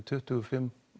tuttugu og fimm